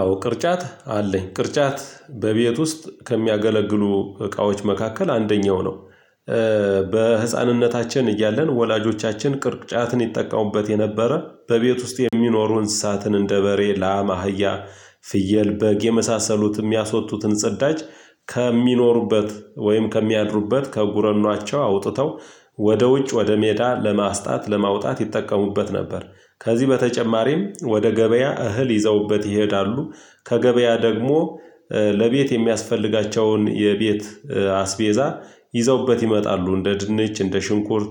አዎ ቅርጫት አለኝ ቅርጫት በቤት ውስጥ ከሚያገለግሉ እቃዎች መካከል አንደኛው ነው። በህፃንነታችን እያለን ወላጆቻችን ቅርጫትን ይጠቀሙበት የነበረ በቤት ውስጥ የሚኖሩ እንስሳትን እንደ በሬ፣ ለም፣ አህያ ፍየል፣ በግ የመሳሰሉትም ያስወጡትን ጽዳች ከሚኖሩበት ወይም ከሚያድሩበት ከጉረኖአቸው አውጥተው ወደ ውጭ ወደ ሜዳ ለማስጣት ለማውጣት ይጠቀሙበት ነበር። ከዚህ በተጨማሪም ወደ ገበያ እህል ይዘውበት ይሄዳሉ። ከገበያ ደግሞ ለቤት የሚያስፈልጋቸውን የቤት አስቤዛ ይዘውበት ይመጣሉ እንደ ድንች እንደ ሽንኩርት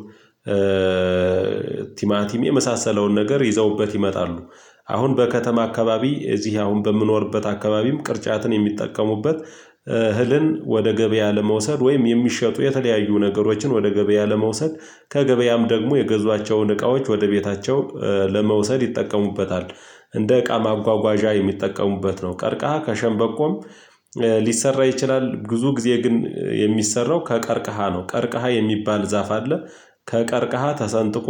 ቲማቲም የመሳሰለውን ነገር ይዘውበት ይመጣሉ። አሁን በከተማ አካባቢ እዚህ አሁን በምኖርበት አካባቢም ቅርጫትን የሚጠቀሙበት እህልን ወደ ገበያ ለመውሰድ ወይም የሚሸጡ የተለያዩ ነገሮችን ወደ ገበያ ለመውሰድ ከገበያም ደግሞ የገዟቸውን እቃዎች ወደ ቤታቸው ለመውሰድ ይጠቀሙበታል። እንደ እቃ ማጓጓዣ የሚጠቀሙበት ነው። ቀርቀሃ ከሸንበቆም ሊሰራ ይችላል። ብዙ ጊዜ ግን የሚሰራው ከቀርቀሃ ነው። ቀርቀሃ የሚባል ዛፍ አለ ከቀርቀሃ ተሰንጥቆ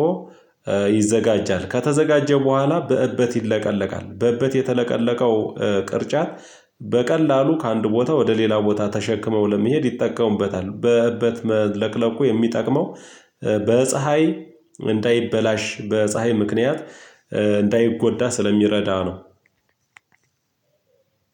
ይዘጋጃል። ከተዘጋጀው በኋላ በእበት ይለቀለቃል። በእበት የተለቀለቀው ቅርጫት በቀላሉ ከአንድ ቦታ ወደ ሌላ ቦታ ተሸክመው ለመሄድ ይጠቀሙበታል። በእበት መለቅለቁ የሚጠቅመው በፀሀይ እንዳይበላሽ በፀሀይ ምክንያት እንዳይጎዳ ስለሚረዳ ነው።